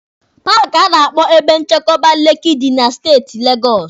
Paaki a na-akpọ Ebe Nchekwaba Lekki dị na Steeti Legọsụ